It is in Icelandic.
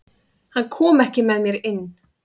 Hann kom ekki með mér inn.